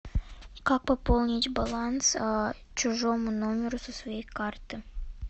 как пополнить баланс чужому номеру со своей карты